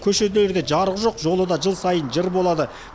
көшелерде жарық жоқ жолы да жыл сайын жыр болады